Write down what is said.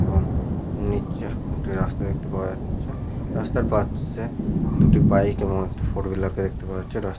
এবং নিচে একটি রাস্তা দেখতে পাওয়া যাচ্ছে। রাস্তার পাশে দুটি বাইক এবং একটি ফোর হুইলার কে দেখতে পাওয়া যাচ্ছে। রাস্তা --